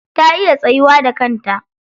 Ta iya tsayuwa da kanta.